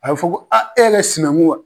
A bɛ fɔ ko e yɛrɛ sinanku wa?